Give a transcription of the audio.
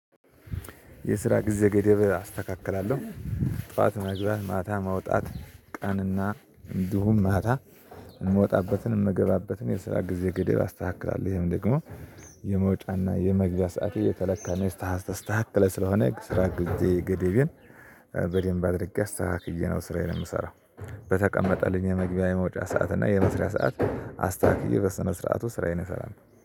የስራ ጊዜ ገደብ አስተካክላለሁ። ጠዋት መግባት ማታ መውጣት ቀንና እንዲሁም ማታ የምወጣበትን የምገባበትን የስራ ጊዜ ገደብ አስተካክላለሁ። ይሄም ደግሞ የመውጫና የመግዣ ሰዓት እየተለካ ነው እስታስታስ ታክለ ስለሆነ ስራ ግዜ ገዴቤን። በደንብ አድርጌ አስተካክዬ ነው ስራዬን የምሰራው። በተቀመጠልኝ የመግቢያ የመውጫ ሰዓት እና የመስሪያ ሰዓት አስተካክዬ በስነ ስርዓቱ ስራዬን እሰራለሁ